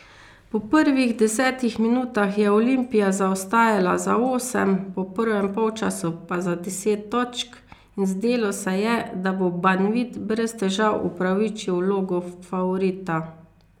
Po prvih desetih minutah je Olimpija zaostajala za osem, po prvem polčasu pa za deset točk in zdelo se je, da bo Banvit brez težav upravičil vlogo favorita.